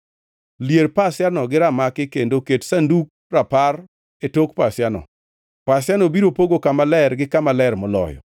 Lier pasiano gi ramaki kendo ket Sandug Rapar e tok pasiano. Pasiano biro pogo Kama Ler gi Kama Ler Moloyo.